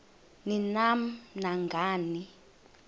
ni nam nangani